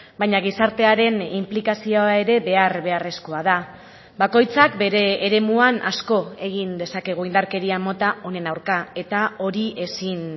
baina gizartearen inplikazioa ere behar beharrezkoa da bakoitzak bere eremuan asko egin dezakegu indarkeria mota honen aurka eta hori ezin